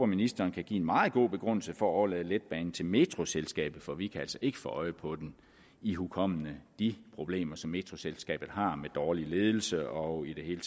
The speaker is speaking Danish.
ministeren kan give en meget god begrundelse for at overlade letbanen til metroselskabet for vi kan altså ikke få øje på den ihukommende de problemer som metroselskabet har med dårlig ledelse og i det hele